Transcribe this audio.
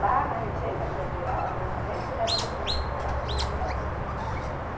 Lá na Receita Federal, a presidente da tribo Muirapinima continuo ser eu.